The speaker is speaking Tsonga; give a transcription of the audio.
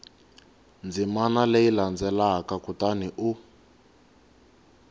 ndzimana leyi landzelaka kutani u